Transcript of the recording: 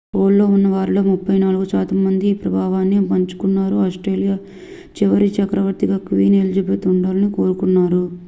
pole లో ఉన్న వారిలో 34 శాతం మంది ఈ అభిప్రాయాన్ని పంచుకున్నారు ఆస్ట్రేలియా చివరి చక్రవర్తిగా క్వీన్ ఎలిజబెత్ ii ఉండాలని కోరుకుంటున్నారు